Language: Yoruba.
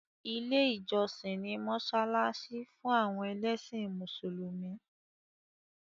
Ilé ìjọsìn ni mọ́ṣáláṣí fún àwọn ẹlẹ́sìn mùsùlùmí.